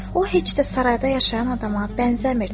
O, heç də sarayda yaşayan adama bənzəmirdi.